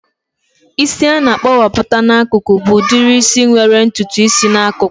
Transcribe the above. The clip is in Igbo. Isi a na-akpowapu n'akụkụ bụ udiri isi nwere ntutu isi n'akụkụ